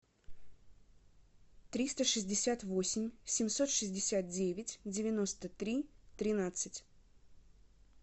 триста шестьдесят восемь семьсот шестьдесят девять девяносто три тринадцать